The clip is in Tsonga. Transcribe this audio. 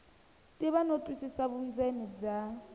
tiva no twisisa vundzeni bya